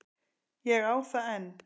Ég á það enn.